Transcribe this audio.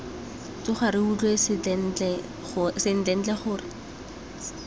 tsoga re utlwa sentlentle gore